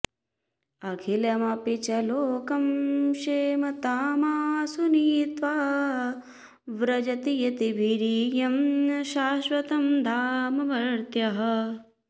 अखिलमपि च लोकं क्षेमतामाशु नीत्वा व्रजति यतिभिरीड्यं शाश्वतं धाम मर्त्यः